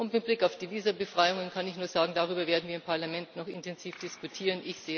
Und mit Blick auf die Visabefreiungen kann ich nur sagen Darüber werden wir im Parlament noch intensiv diskutieren.